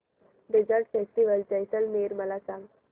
desert festival Jaisalmer मला सांग